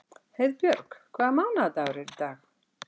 Heiðbjörg, hvaða mánaðardagur er í dag?